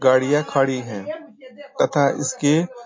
गाड़िया खड़ी हैं तथा इसके --